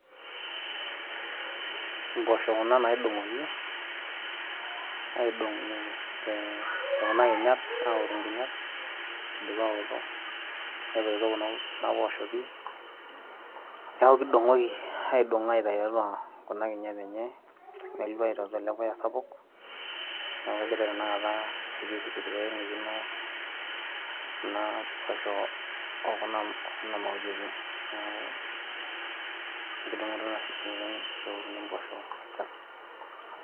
mpoosho kuna naidongoki aidongu te kuna kinyat aoru nkinyat idipa oto. Netoito kuna poosho pi , niaku kidongoki aitayu tiatua kuna kinyat enye , nelua tiatua ele puya sapuk niaku egira tenakata aipirpir pee eingukino kuna poosho okuna mauti enye ,